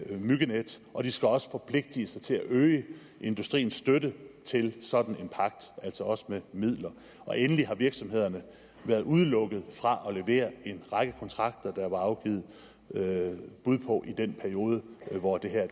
myggenet og de skal også forpligte sig til at øge industriens støtte til sådan en pagt altså også med midler og endelig har virksomhederne været udelukket fra at levere en række kontrakter der var afgivet bud på i den periode hvor det her